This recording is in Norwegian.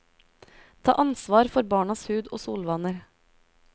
Ta ansvar for barnas hud og solvaner.